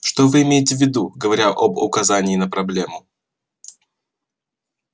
что вы имеете в виду говоря об указании на проблему